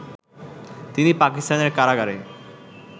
তিনি পাকিস্তানের কারাগারে